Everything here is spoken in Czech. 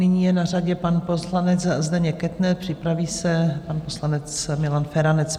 Nyní je na řadě pan poslanec Zdeněk Kettner, připraví se pan poslanec Milan Feranec.